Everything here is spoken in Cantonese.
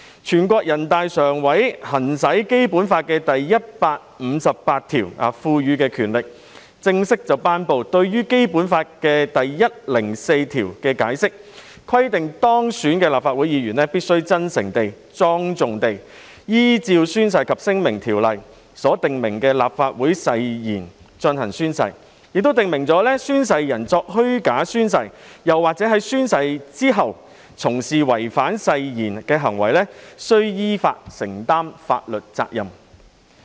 全國人民代表大會常務委員會行使《基本法》第一百五十八條賦予的權力，正式頒布關於《基本法》第一百零四條的解釋，規定當選的立法會議員必須真誠地、莊重地依照《宣誓及聲明條例》所訂明的立法會誓言進行宣誓，亦訂明"宣誓人作虛假宣誓或者在宣誓之後從事違反誓言行為的，依法承擔法律責任"。